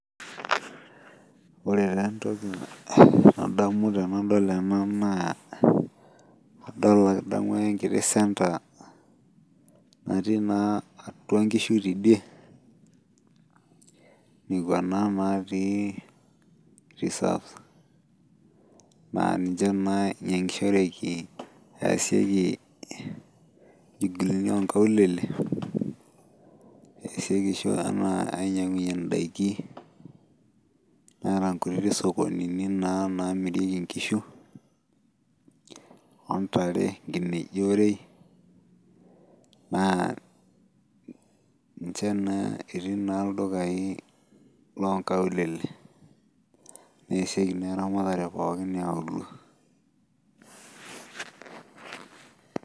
Ore taa entoki nadamu tenadol ena naa adol adamu ake enkiti centre natii naa atua inkishu tidie nekua naa natii reserves naa ninche naa inyiang'ishoreki eesieki inchugulini onkaulele eesieki eshua anaa ainyiang'unyie indaiki neeta nkutiti sokonini naa namirieki inkishu ontare nkineji orei naa inche naa etii naa ildukai lonkaulele neesieki naa eramatare pookin iauluo.